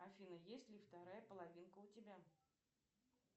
афина есть ли вторая половинка у тебя